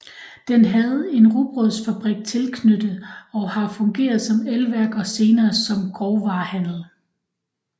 Den havde en rugbrødsfabrik tilknyttet og har fungeret som elværk og senere som grovvarehandel